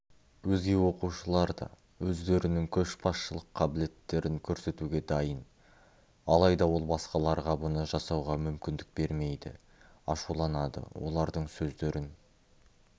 өзге оқушылар да өздерінің көшбасшылық қабілеттерін көрсетуге дайын алайда ол басқаларға бұны жасауға мүмкіндік бермейді ашуланады олардың сөздерін